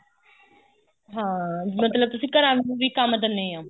ਹਾਂ ਮਤਲਬ ਤੁਸੀਂ ਘਰਾਂ ਨੂੰ ਵੀ ਕੰਮ ਦਿੰਨੇ ਓ